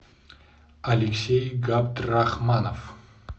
алексей габдрахманов